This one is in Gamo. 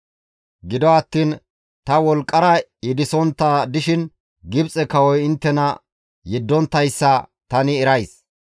Gido attiin ta wolqqara yedisontta dishin Gibxe kawoy inttena yeddonttayssa tani erays.